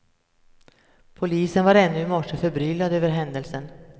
Polisen var ännu i morse förbryllad över händelsen.